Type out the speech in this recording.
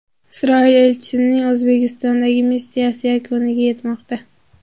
Isroil elchisining O‘zbekistondagi missiyasi yakuniga yetmoqda.